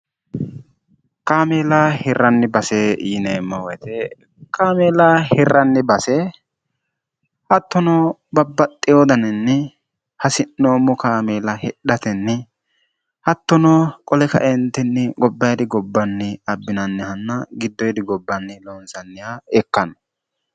kaamila hirranni base yineemmo woyite kaamiila hirranni base hattono babbaxxi hodaninni hasi'noommo kaamiila hedhatenni hattono qole kaentinni gobbairi gobbanni abbinannihanna giddo yidi gobbanni loonsanniha ikkanno